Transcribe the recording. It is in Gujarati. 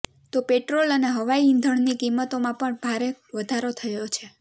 તો પેટ્રોલ અને હવાઈ ઈંધણની કિંમતોમાં પણ ભારે વધારો થયો છે